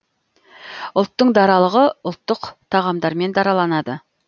ұлттың даралығы ұлттық тағамдармен дараланады